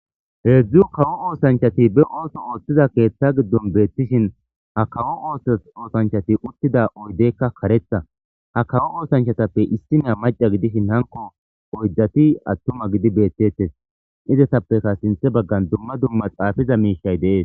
Hezdzdu kawo oso oththiza asati ba keeththa giddoni betishini ha kawo ooththanichchati uttida oyideyikka kareththa ha kawo ooththanichatappe issinoya macca gidishshin hanikko oyidati atuma gidi beteteesi izetapeka sinththe bagani dumma dumma xaafiza mishati deessi